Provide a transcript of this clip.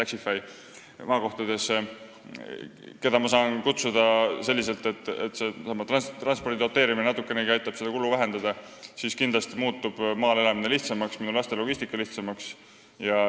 Kui maakohtades oleks Taxify, mida ma saaks kutsuda, ja transpordi doteerimine aitaks natukenegi seda kulu vähendada, siis muutuks kindlasti maal elamine ja minu lastega seotud logistika lihtsamaks.